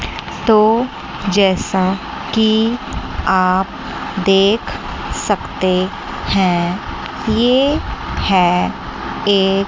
तो जैसा कि आप देख सकते हैं ये है एक--